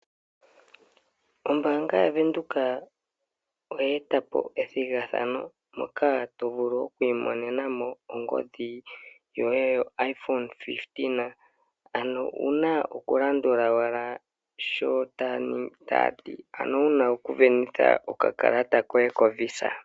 Ombanga yaVenduka oye etapo ethigathano moka to vulu okwiimonena mo ongodhi yoye yoiphone 15. Ano owuna oku landula owala sho taati. Ano wuna oku venitha okakalata koye koVisa.